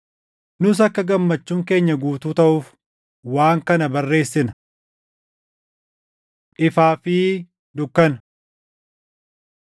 Nus akka gammachuun keenya guutuu taʼuuf waan kana barreessina. Ifaa fi Dukkana